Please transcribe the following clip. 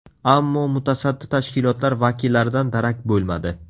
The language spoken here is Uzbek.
Ammo mutasaddi tashkilotlar vakillaridan darak bo‘lmadi.